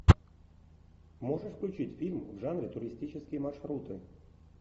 можешь включить фильм в жанре туристические маршруты